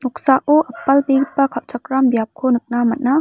noksao apalbegipa kalchakram biapko nikna man·a.